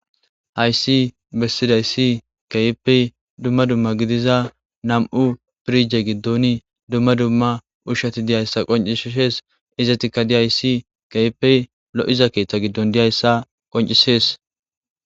Hayis besizayis kehipe dumma dumma gidiza nam'u firije gidoni dumma dumma ushati dei'yayisa qoncisises izetika diyayisi kehipe loiza keeththa gidon deiyaysa qoncises.